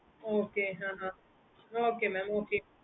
okay mam